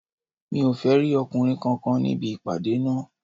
Mi ò fẹ́ rí ọkùnrin kankan níbì ìpàdé náà